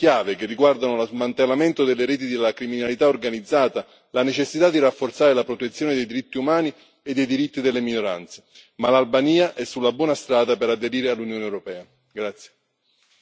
Sussistono ancora altre sfide chiave che riguardano lo smantellamento delle reti della criminalità organizzata e la necessità di rafforzare la protezione dei diritti umani e dei diritti delle minoranze, ma l'Albania è sulla buona strada per aderire all'Unione europea.